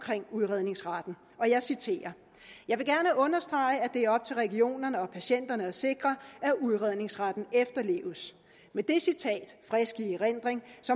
udredningsretten og jeg citerer jeg vil gerne understrege at det er op til regionerne og ikke patienterne at sikre at udredningsretten efterleves med det citat i frisk erindring